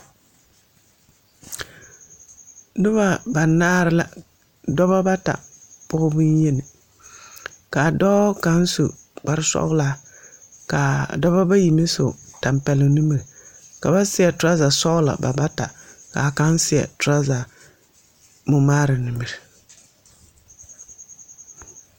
Noba banaare la dɔbɔ bata pɔge boŋyeni ka a dɔɔ kaŋ su kpare sɔglaa ka a dɔbɔ bayi meŋ su tampɛloŋ nimiri ka ba seɛ turaza sɔglɔ ba bata ka kaŋa seɛ turaza momaara nimiri.